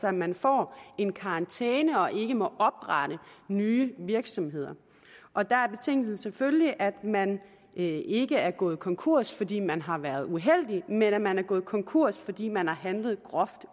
at man får en karantæne og ikke må oprette nye virksomheder og der er betingelsen selvfølgelig at man ikke er gået konkurs fordi man har været uheldig men at man er gået konkurs fordi man har handlet groft